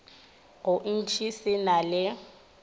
go ntši se na le